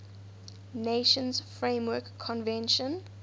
nations framework convention